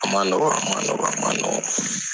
A ma nɔgɔ a ma nɔgɔ.